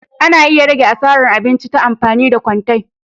Ana iya rage asaran abinci ta amfani da kwante.